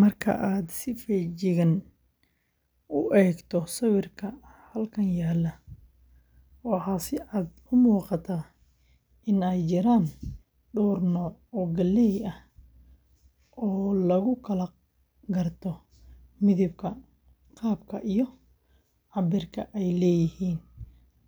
Marka aad si feejigan u eegto sawirka halkan yaalla, waxaa si cad u muuqata in ay jiraan dhowr nooc oo galley ah oo lagu kala garto midabka, qaabka, iyo cabbirka ay leeyihiin,